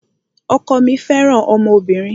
Ọkọ mí fẹràn ọmọbìnrin.